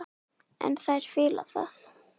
En þær fíla það.